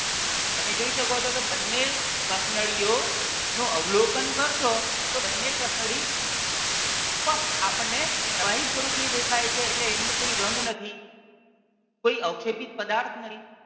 તમે જોઈ શકો છો કે બંને કસનળીઓ નું અવલોકન કરશો તો બંને કસનળી first આપણને પ્રવાહી સ્વરૂપની દેખાય છે એટલે એની અંદર કોઈ રંગ નથી કોઈ અવક્ષેપિત પદાર્થ નથી.